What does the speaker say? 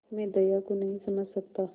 मैं दया को नहीं समझ सकता